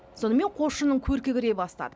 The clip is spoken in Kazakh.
сонымен қосшының көркі кіре бастады